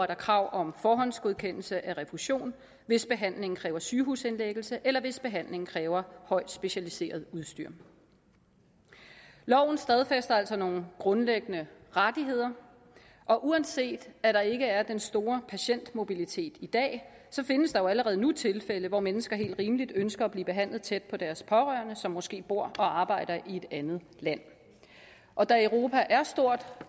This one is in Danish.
der krav om forhåndsgodkendelse af refusion hvis behandlingen kræver sygehusindlæggelse eller hvis behandlingen kræver højt specialiseret udstyr loven stadfæster altså nogle grundlæggende rettigheder og uanset at der ikke er den store patientmobilitet i dag så findes der jo allerede nu tilfælde hvor mennesker helt rimeligt ønsker at blive behandlet tæt på deres pårørende som måske bor og arbejder i et andet land og da europa er stort